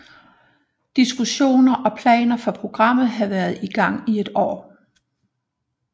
Diskussioner og planer for programmet havde været i gang i et år